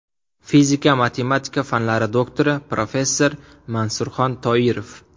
Fizika-matematika fanlari doktori, professor Mansurxon Toirov.